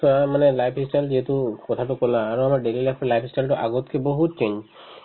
চোৱা মানে life ই style যিহেতু কথাতো ক'লা আৰু আমাৰ daily life ৰ life ই style তো আগতকে বহুত change